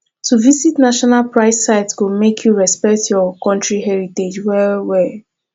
to visit national pride sites go make you respect your country heritage well well